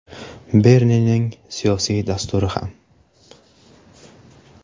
Bernining siyosiy dasturi ham.